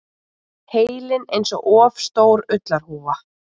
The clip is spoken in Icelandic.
Heilinn einsog of stór ullarhúfa.